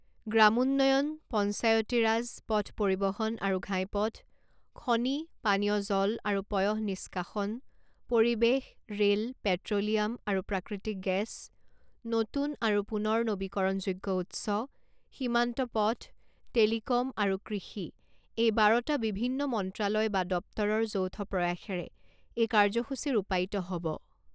গ্ৰামোন্নয়ন, পঞ্চায়তীৰাজ, পথ পৰিবহণ আৰু ঘাইপথ, খনি, পানীয় জল আৰু পয়ঃনিষ্কাষণ, পৰিৱেশ, ৰে'ল, পেট্ৰ'লিয়াম আৰু প্ৰাকৃতিক গেছ, নতুন আৰু পুণৰ্নবীকৰণযোগ্য উৎস, সীমান্ত পথ, টেলিকম আৰু কৃষি এই বাৰটা বিভিন্ন মন্ত্ৰালয় বা দপ্তৰৰ যৌথ প্ৰয়াসেৰে এই কাৰ্যসূচী ৰূপায়িত হ’ব ।